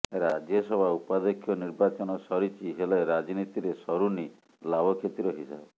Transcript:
ରାଜ୍ୟସଭା ଉପାଧ୍ୟକ୍ଷ ନିର୍ବାଚନ ସରିଛି ହେଲେ ରାଜନୀତିରେ ସରୁନି ଲାଭକ୍ଷତିର ହିସାବ